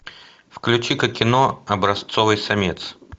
включи ка кино образцовый самец